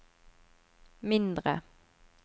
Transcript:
mindre